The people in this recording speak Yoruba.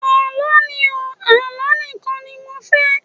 Àlọ́ ni o, Àlọ́ nìkan ni mo fẹ́.